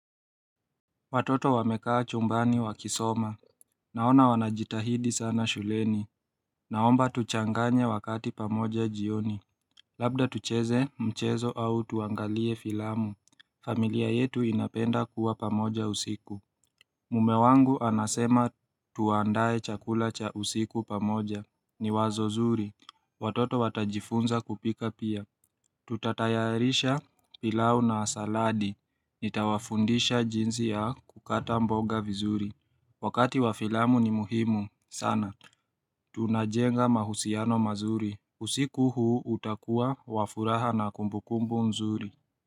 Watoto wamekaa chumbani wakisoma. Naona wanajitahidi sana shuleni. Naomba tuchanganye wakati pamoja jioni. Labda tucheze mchezo au tuangalie filamu. Familia yetu inapenda kuwa pamoja usiku. Mume wangu anasema tuandae chakula cha usiku pamoja. Ni wazo zuri. Watoto watajifunza kupika pia. Tutatayarisha pilau na saladi. Nitawafundisha jinzi ya kukata mboga vizuri. Wakati wafilamu ni muhimu. Sana. Tunajenga mahusiano mazuri. Usiku huu utakuwa wafuraha na kumbukumbu nzuri.